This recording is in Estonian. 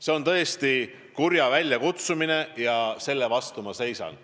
See on tõesti kurja väljakutsumine ja selle vastu ma seisan.